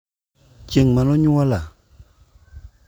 chieng' mane onyuola?